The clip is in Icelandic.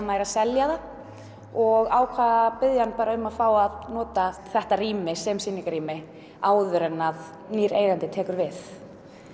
væri að selja það og ákvað að biðja hann bara um að fá að nota þetta rými sem sýningarrými áður en að nýr eigandi tekur við